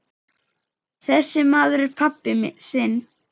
Þessi maður er pabbi þinn.